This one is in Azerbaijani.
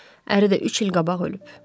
Əri də üç il qabaq ölüb.